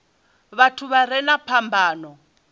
vhathu vha re na phambano